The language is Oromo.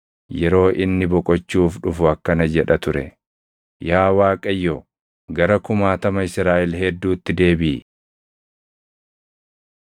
Yeroo inni boqochuuf dhufu akkana jedha ture; “Yaa Waaqayyo, gara kumaatama Israaʼel hedduutti deebiʼi.”